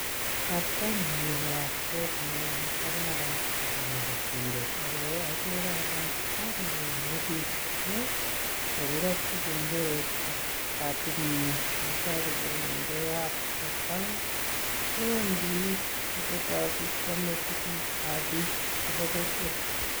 Artanii ko artet neo nee kararan nebo kobotindet ako agere alee artanii ko imebik amu kakirochi kengelet katitnyi iboru kole ngee nyat kwosang kowendi koaketsati kwame tuguk ab biik chebo kokwet